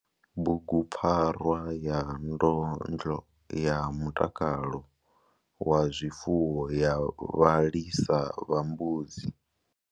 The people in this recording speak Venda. Bugupfarwa ya ndondo ya mutakalo wa zwifuwo ya vhalisa vha mbudzi.